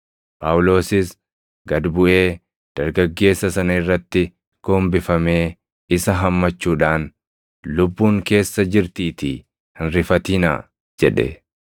Phaawulosis gad buʼee dargaggeessa sana irratti gombifamee isa hammachuudhaan, “Lubbuun keessa jirtiitii hin rifatinaa!” jedhe.